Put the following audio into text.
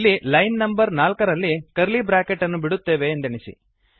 ಇಲ್ಲಿ line number ನಾಲ್ಕರಲ್ಲಿ curly bracket ಅನ್ನು ಬಿಡುತ್ತೇವೆ ಎಂದೆಣಿಸಿ